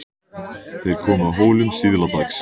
Þeir komu að Hólum síðla dags.